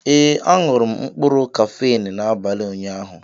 Ee, añụrụ m mkpụrụ Kafenọ n'abalị ụnyaahụ